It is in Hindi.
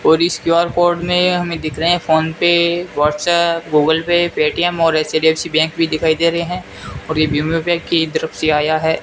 और इस क्यू_आर कोड में हमें दिख रहे हैं PhonePe WhatsApp Google Pay Paytm और एच_डी_एफ_सी बैंक भी दिखाई दे रहे हैं और ये की तरफ से आया है।